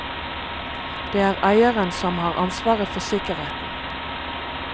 Det er eieren som har ansvaret for sikkerheten.